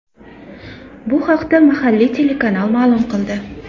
Bu haqda mahalliy telekanal maʼlum qildi .